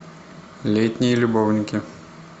летние любовники